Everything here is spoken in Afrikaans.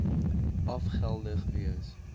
af geldig wees